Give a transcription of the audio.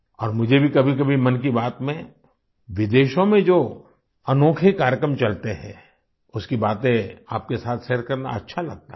और मुझे भी कभीकभी मन की बात में विदेशों में जो अनोखे कार्यक्रम चलते है उसकी बातें आपके साथ शेयर करना अच्छा लगता है